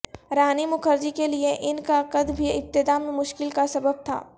رانی مکھرجی کے لیے ان کا قد بھی ابتدا میں مشکل کا سبب تھا